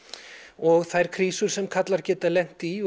og þær krísur sem karlar geta lent í